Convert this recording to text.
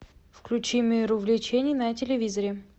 включи мир увлечений на телевизоре